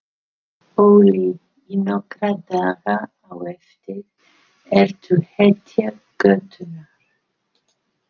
Óli, í nokkra daga á eftir ertu hetja götunnar.